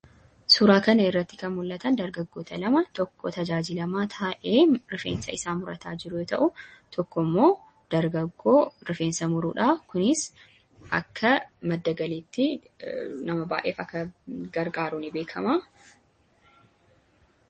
Suuraa kana irratti kan mul'atan dargaggoota lama, tokko tajaajilamaa taa'ee rifeensa isaa murataa jiru ta'u, tokko immoo dargaggoo rifeensa muruudha. Kunis akka madda galiitti nama baay'eef akka gargaaruu ni beekama.